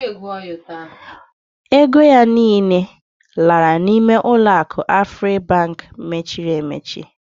Ego ya niile lara n'ime uloaku Afribank mechiri emechi.